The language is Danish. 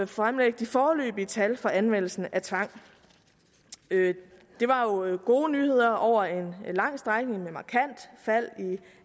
fremlægge de foreløbige tal for anvendelsen af tvang det var jo gode nyheder over en lang strækning med markant fald i